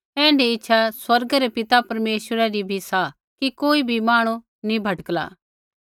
ऐण्ढी इच्छा स्वर्गै रै परमेश्वर पिता री भी सा कि कोई बी मांहणु नी भटकला